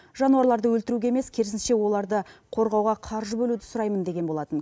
жануарларды өлтіруге емес керсініше оларды қорғауға қаржы бөлуді сұраймын деген болатын